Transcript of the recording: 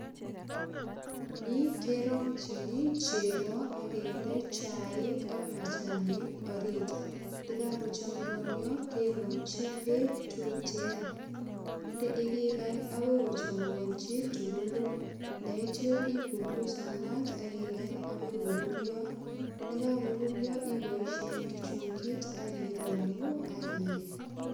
Ni kerongchini chego ak kende chaik ak machanik orit. Ndagagochumuigonio kerongchi beek tuten. Nde ak igany agoi kochumuganchi tugulu. Ndaitya ipungusan mat ak igany agoi korurio.